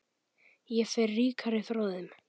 Ég fer ríkari frá þeim.